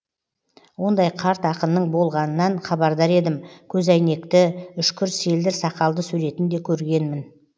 ондай қарт ақынның болғанынан хабардар едім көзәйнекті үшкір селдір сақалды суретін де көргенмін